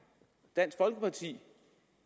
dansk folkeparti